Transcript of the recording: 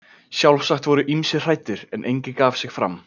Sjálfsagt voru ýmsir hræddir, en enginn gaf sig fram.